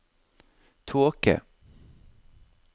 tåke